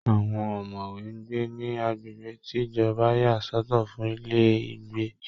Àwọn ọ̀mọ̀wé ń gbé ní agbègbè tí ìjọba yà sọ̀tọ̀ fún ilé ìgbé